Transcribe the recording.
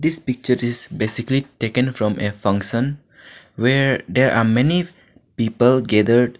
This picture is basically taken from a function where there are many people gathered.